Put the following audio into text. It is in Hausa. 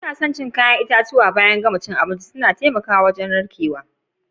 Na kan son cin kayan itatuwa baya na gama cin abinci. Suna taimaka da narkewa.